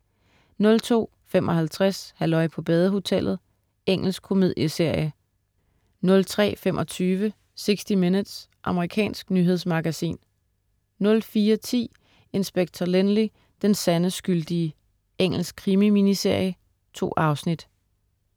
02.55 Halløj på badehotellet. Engelsk komedieserie 03.25 60 Minutes. Amerikansk nyhedsmagasin 04.10 Inspector Lynley, den sande skyldige. Engelsk krimi-miniserie. 2 afsnit